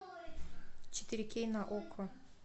четыре кей на окко